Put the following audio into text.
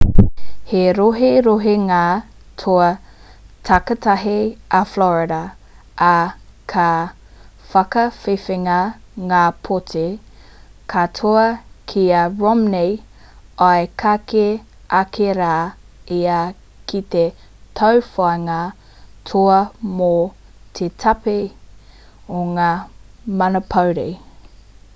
he roherohenga toa takitahi a florida ā ka whakawhiwhia ngā pōti katoa ki a romney i kake ake rā ia ki te tauwhāinga toa mō te pāti o ngā manapori